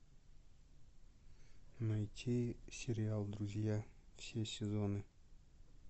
найти сериал друзья все сезоны